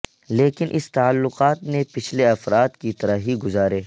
لیکن اس تعلقات نے پچھلے افراد کی طرح ہی گزارے